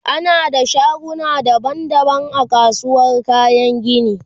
ana da shaguna daban daban a kasuwar kayan gini